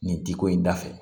Nin ti ko in da fɛ